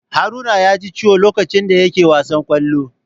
Haruna yaji Ciwo lokacin da yake wasan Kwallo.